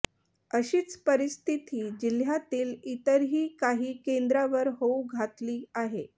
अशीच परिस्थिती जिल्ह्यातील इतरही काही केंद्रावर होऊ घातली आहे